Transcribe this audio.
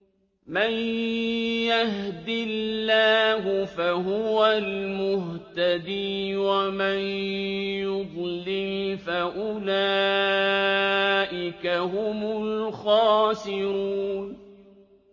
مَن يَهْدِ اللَّهُ فَهُوَ الْمُهْتَدِي ۖ وَمَن يُضْلِلْ فَأُولَٰئِكَ هُمُ الْخَاسِرُونَ